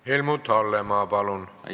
Helmut Hallemaa, palun!